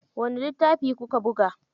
Wani littafi kuka buga?